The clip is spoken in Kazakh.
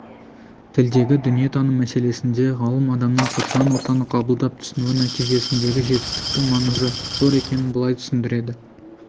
тілдегі дүниетаным мәселесінде ғалым адамның қоршаған ортаны қабылдап түсінуі нәтижесіндегі жетістіктің маңызы зор екенін былай түсіндіреді